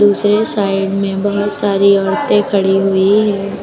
दूसरे साइड में बहोत सारी औरतें खड़ी हुई हैं।